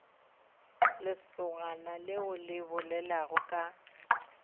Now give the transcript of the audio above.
lesogana leo le bolelago ka